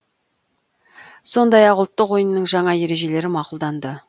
сондай ақ ұлттық ойынның жаңа ережелері мақұлданды